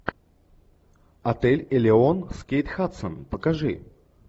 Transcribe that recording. отель элеон с кейт хадсон покажи